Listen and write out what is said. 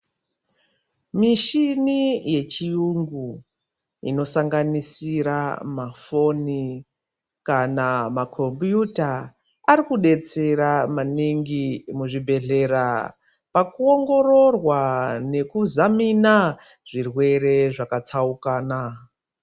Mishini yechiungu, inosanganisira mafoni kana makhompiyutha , arikudetsera maningi muzvibhedhlera pakuwongororwa nekuzamina zvirwere zvakatsaukana.